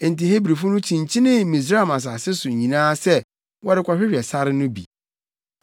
Enti Hebrifo no kyinkyinii Misraim asase so nyinaa sɛ wɔrekɔhwehwɛ sare no bi.